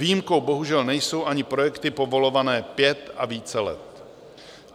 Výjimkou bohužel nejsou ani projekty povolované pět a více let.